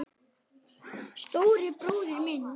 Stóri bróðir minn.